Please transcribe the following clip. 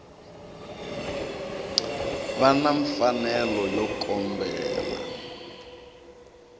va na mfanelo yo kombela